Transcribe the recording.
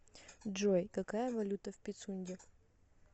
джой какая валюта в пицунде